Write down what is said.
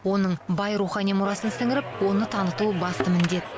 оның бай рухани мұрасын сіңіріп оны таныту басты міндет